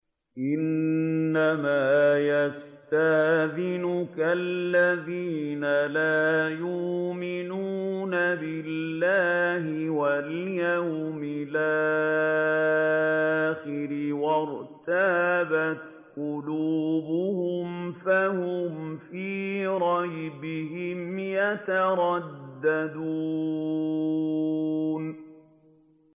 إِنَّمَا يَسْتَأْذِنُكَ الَّذِينَ لَا يُؤْمِنُونَ بِاللَّهِ وَالْيَوْمِ الْآخِرِ وَارْتَابَتْ قُلُوبُهُمْ فَهُمْ فِي رَيْبِهِمْ يَتَرَدَّدُونَ